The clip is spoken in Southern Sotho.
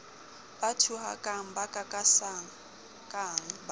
ba thuhakang ba kakasakang ba